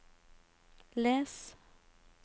les